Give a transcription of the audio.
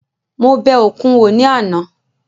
Mo bẹ òkun wò ní àná